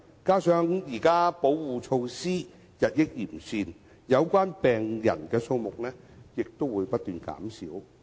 加上現時保護措施日益完善，有關病人的數目亦不斷減少。